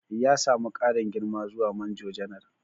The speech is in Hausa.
Ya samu ƙarin girma zuwa Manjo Janar.